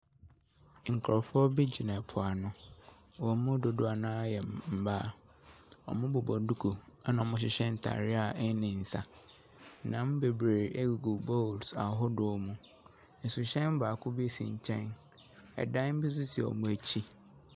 Nkorɔfoɔ bi gyina po ano, wɔn mu dodoɔ no ara ɛyɛ mmaa. Wɔbobɔ nduku, ɛna wɔhyehyɛ ntaareɛ a ɛnni nsa. Nam bebree agugu bowls ahodoɔ mu. Nsihyɛn baako bi si nkyɛn. Dan bi nso si wɔn akyi.